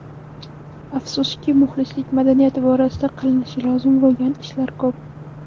Afsuski, muxlislik madaniyati borasida qilinishi lozim bo‘lgan ishlar ko‘p.